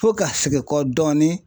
Fo ka segin kɔ dɔɔni